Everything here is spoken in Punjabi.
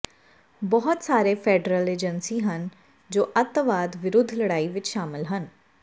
ਬਹੁਤ ਸਾਰੇ ਫੈਡਰਲ ਏਜੰਸੀ ਹਨ ਜੋ ਅੱਤਵਾਦ ਵਿਰੁੱਧ ਲੜਾਈ ਵਿਚ ਸ਼ਾਮਿਲ ਹਨ